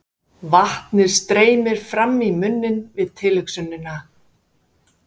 Vatnið streymir fram í munninn við tilhugsunina.